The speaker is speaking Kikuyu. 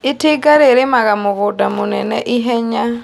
Itinga rĩrĩmaga mũgũnda mũnene ihenya.